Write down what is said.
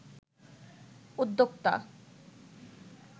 উদ্যোক্তা